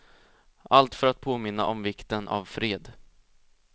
Allt för att påminna om vikten av fred.